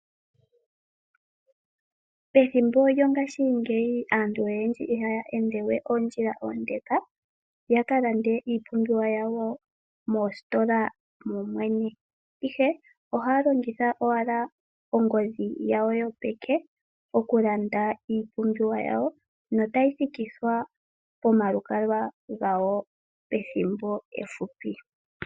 Pethimbo lyongashingeyi aantu oyendji ihaya ende we oondjila oondeka ya ka lande yawo moositola mo mwene, ihe ohaya longitha owala ongodhi yawo yopeke okululanda iipumbiwa yawo notayi thikithwa pomalukalwa gawo pethimbo efupi.